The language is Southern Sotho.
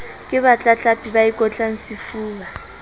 ke batlatlapi ba ikotlang sefuba